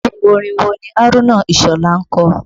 Irú orin wo ni Haruna Isola ń kọ?